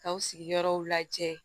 K'aw sigiyɔrɔw lajɛ